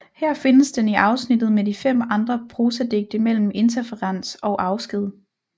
Her findes den i afsnittet med de fem andre prosadigte mellem Interferens og Afsked